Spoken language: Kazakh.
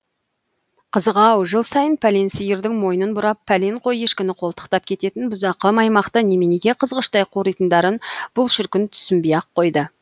қызық ау жыл сайын пәлен сиырдың мойнын бұрап пәлен қой ешкіні қолтықтап кететін бұзақы маймақты неменеге қызғыштай қоритындарын бұл шіркін түсінбей ақ қойды